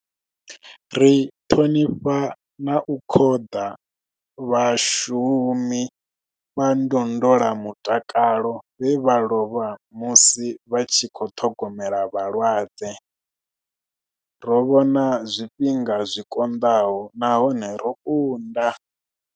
Ri ṱhonifha na u khoḓa vhashu mi vha ndondolamutakalo vhe vha lovha musi vha tshi khou ṱhogomela vhalwadze. Ro vhona zwifhinga zwi konḓaho nahone ro kunda.